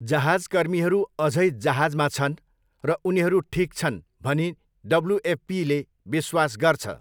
जहाजकर्मीहरू अझै जहाजमा छन् र उनीहरू 'ठिक' छन् भनी डब्ल्युएफपीले विश्वास गर्छ।